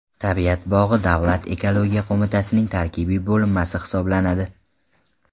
Tabiat bog‘i Davlat ekologiya qo‘mitasining tarkibiy bo‘linmasi hisoblanadi.